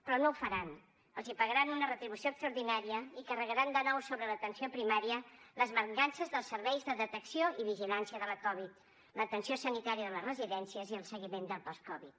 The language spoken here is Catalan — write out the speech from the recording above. però no ho faran els pagaran una retribució extraordinària i carregaran de nou sobre l’atenció primària les mancances dels serveis de detecció i vigilància de la covid l’atenció sanitària de les residències i el seguiment del post covid